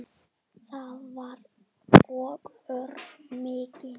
Það var og örn mikill.